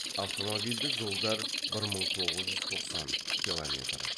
автомобильді жолдар бір мың тоғыз жүз тоқсан километр